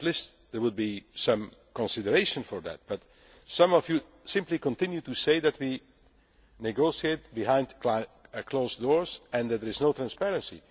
At least there would be some consideration for the fact, but some of you simply continue to say that we negotiate behind closed doors and that there is no transparency.